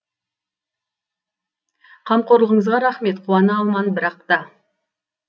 қамқорлығыңызға рахмет қуана алман бірақ та